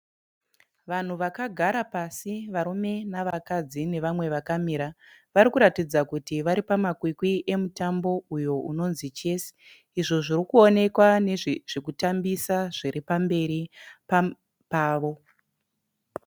Vanhu vakagara pasi varume nevakadzi nevamwe vakamira. Varikuratidza kuti varipamakwikwi emutambo uyo unonzi chesi. Izvo zvirikuonekwa nezvekutambisa zviri pamberi pavo.